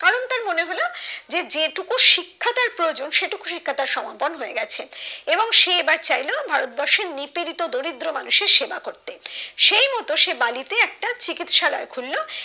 যে যেটুকু শিক্ষা তার প্রয়োজন সেটুকু শিক্ষা তার সমন্তন হয়েগেছে এবং সে এবার চাইলেও ভারতবর্ষে নিপীড়িত দরিদ্র মানুষের সেবা করতে সেই মতো সে বালিতে একটা চিকিৎসালয় খুললো